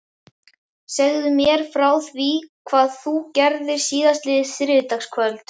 Segðu mér fyrst frá því hvað þú gerðir síðastliðið þriðjudagskvöld.